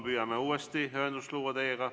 Püüame teiega uuesti ühendust luua.